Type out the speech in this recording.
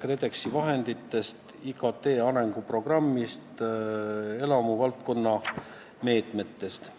KredExi vahenditest, IKT arenguprogrammist ja elamuvaldkonna meetmetest.